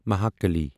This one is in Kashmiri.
مہاکالی